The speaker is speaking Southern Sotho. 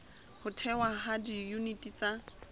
ho thehwa ha diyuniti tsa